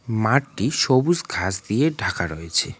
মাঠটি সবুজ ঘাস দিয়ে ঢাকা রয়েছে।